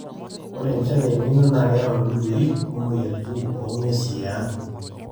ore enchan e elnino na keyau dudui o moyiaritin oo nnguesi e ang